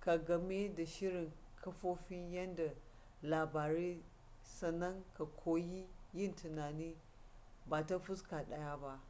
ka game da shirin kafofin yada labarai sannan ka koyi yin tunani ba ta fuska ɗaya ba